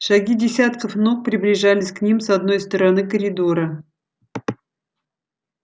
шаги десятков ног приближались к ним с одной стороны коридора